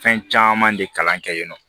Fɛn caman de kalan kɛ yen nɔ